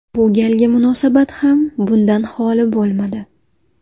Bu galgi munosabat ham bundan xoli bo‘lmadi.